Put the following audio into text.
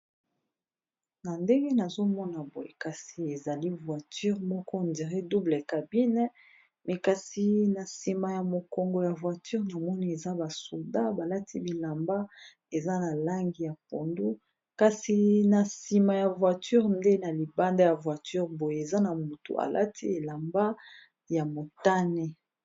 Na ndenge nazomona boye kasi ezali voiture moko on dirait double cabine mais kasi na sima ya mokongo ya voiture namoni eza ba soldat balati bilamba eza na langi ya pondu kasi na sima ya voiture nde na libanda ya voiture boye eza na mutu alati elamba ya motane.